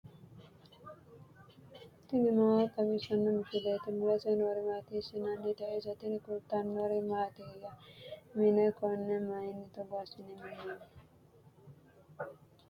tini maa xawissanno misileeti ? mulese noori maati ? hiissinannite ise ? tini kultannori mattiya? mine konne mayiinni togo assinne minoonni?